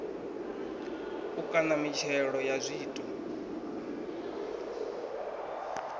u kaṋa mitshelo ya zwiito